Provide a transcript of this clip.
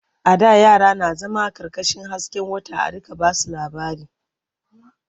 A da yara na zama ƙarƙashin hasken wata a riƙa ba su labari.